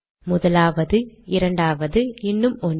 முதலாவது இரண்டாவது இன்னும் ஒன்று